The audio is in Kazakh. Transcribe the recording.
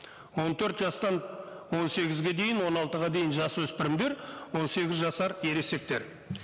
он төрт жастан он сегізге дейін он алтыға дейін жасөспірімдер он сегіз жасар ересектер